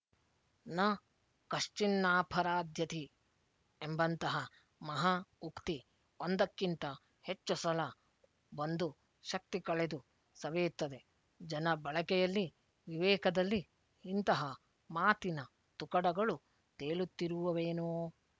ನಃ ಕಶ್ಚಿನ್ನಾಪರಾಧ್ಯತೆ ಎಂಬಂತಹ ಮಹಾ ಉಕ್ತಿ ಒಂದಕ್ಕಿಂತ ಹೆಚ್ಚು ಸಲ ಬಂದು ಶಕ್ತಿ ಕಳೆದು ಸವೆಯುತ್ತದೆ ಜನ ಬಳಕೆಯಲ್ಲಿ ವಿವೇಕದಲ್ಲಿ ಇಂತಹ ಮಾತಿನ ತುಕಡಗಳು ತೇಲುತ್ತಿರುವುವೇನೊ